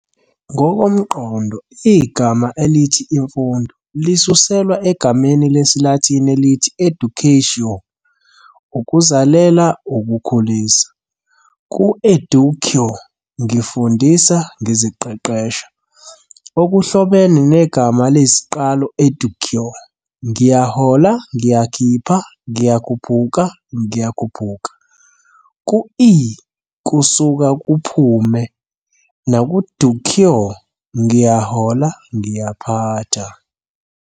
Ngokomqondo, igama elithi "imfundo" lisuselwa egameni lesiLatini elithi ēducātiō, "Ukuzalela, ukukhulisa, ukukhulisa", ku-ēducō, "Ngifundisa, ngiziqeqesha", okuhlobene negama eliyisiqalo ēdūcō, "ngiyahola, Ngiyakhipha, ngiyakhuphuka, ngiyakhuphuka ", ku-ē-, " kusuka, kuphume ", naku-dūcō, " Ngiyahola, ngiyaphatha ".